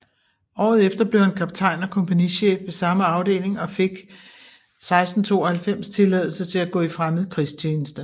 Året efter blev han kaptajn og kompagnichef ved samme afdeling og fik 1692 tilladelse til at gå i fremmed krigstjeneste